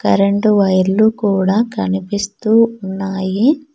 Current వైర్లు కూడ కనిపిస్తూ ఉన్నాయి.